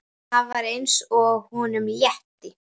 Það var eins og honum létti.